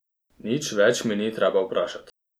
Nič več mi ni treba vprašat.